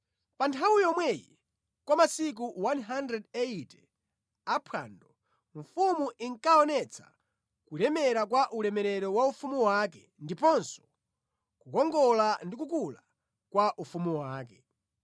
Pa nthawi yomweyi kwa masiku 180 a phwando mfumu inkaonetsa kulemera kwa ulemerero wa ufumu wake ndiponso kukongola ndi kukula kwa ufumu wake.